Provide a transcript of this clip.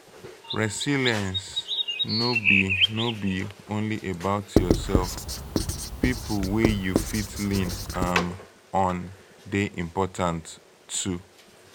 resilence no be no be only about yourself pipo wey you fit lean um on de important too